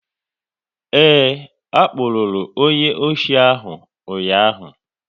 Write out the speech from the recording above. Ee, a kpụrụru onye ọchị ahụ ụnyaahụ